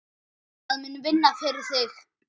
Það mun vinna fyrir þig.